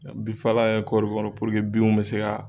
binfala kɛ kɔriw kɔrɔ binw bɛ se ka.